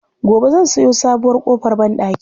Gobe zan sayo sabuwar ƙofar banɗaki.